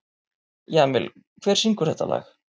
Jamil, hver syngur þetta lag?